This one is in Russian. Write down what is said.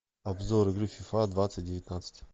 обзор игры фифа двадцать девятнадцать